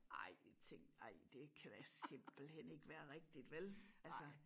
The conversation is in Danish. Ej jeg tænkte ej det kan da simpelthen ikke være rigtigt vel? Altså